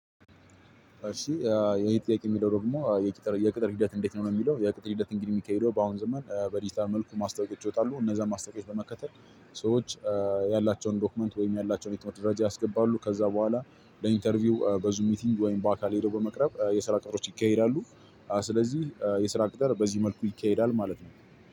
እሺ የሄጥያቄ የሚለው ደግሞ የቅጥር የቅጥር ሂደት እንዴት ነው? የሚለው የቅጥር ሂደት እንግዲህ የሚከሄደው በአሁን ዝም በዲጂታል መልኩ ማስታወቂያ ይወጣሉ እነዛን ማስታወቂያ በመከተል። ሰዎች ያላቸውን ዶክመንት ወይም ያላቸውን የትምህርት ደረጃ ያስገባሉ ከዛ በኋላ ለኢንተርቪው በዙም ሚቲንግ ወይም በአካል ሄዶ በመቅረብ የስራ ቅጥሮች ይካሄዳሉ። ስለዚህ የስራ ቅጠል በዚህ መልኩ ይካሄዳል ማለት ነው።